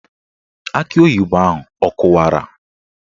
Akị oyibo ahụ akụwara?